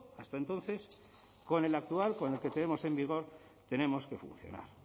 hasta entonces con el actual con el que tenemos en vigor tenemos que funcionar